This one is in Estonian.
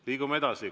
Liigume edasi.